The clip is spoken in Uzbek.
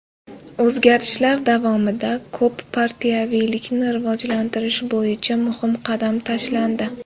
O‘zgarishlar davomida ko‘p partiyaviylikni rivojlantirish bo‘yicha muhim qadam tashlandi.